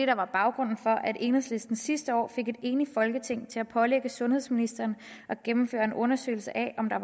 der var baggrunden for at enhedslisten sidste år fik et enigt folketing til at pålægge sundhedsministeren at gennemføre en undersøgelse af om der